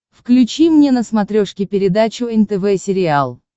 включи мне на смотрешке передачу нтв сериал